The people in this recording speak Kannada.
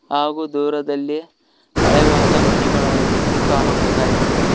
ಹಾಗೂ ದೂರದಲ್ಲಿ ಹಳೆವಾದ ಮನೆಗಳ ರೀತಿ ಕಾಣುವುದಾಗಿದೆ.